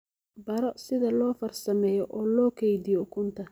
Baro sida loo farsameeyo oo loo kaydiyo ukunta.